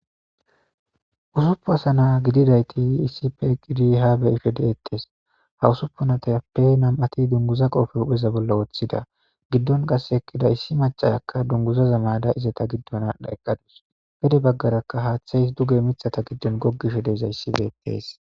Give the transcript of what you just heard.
Usuppun asana gididayti issippe eqqidi haa be7ishe deettes.ha usuppunatappe nam7ati dunguza qoope hupheza bolla wothida.giddon qasse eqqida issi maccaya dunguzaza mayada izeta giddon aadhdha eqqadus.pude baggarakka haathey duge mithata giddo goggishe dees.